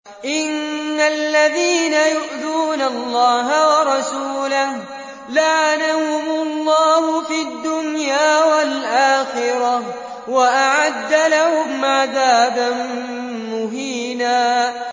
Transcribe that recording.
إِنَّ الَّذِينَ يُؤْذُونَ اللَّهَ وَرَسُولَهُ لَعَنَهُمُ اللَّهُ فِي الدُّنْيَا وَالْآخِرَةِ وَأَعَدَّ لَهُمْ عَذَابًا مُّهِينًا